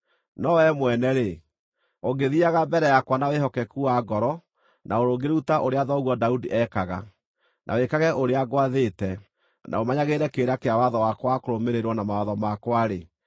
“No wee mwene-rĩ, ũngĩthiiaga mbere yakwa na wĩhokeku wa ngoro na ũrũngĩrĩru ta ũrĩa thoguo Daudi ekaga, na wĩkage ũrĩa ngwathĩte, na ũmenyagĩrĩre kĩrĩra kĩa watho wakwa wa kũrũmĩrĩrwo na mawatho makwa-rĩ,